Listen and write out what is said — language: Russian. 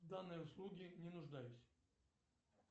в данной услуге не нуждаюсь